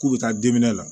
K'u bɛ taa la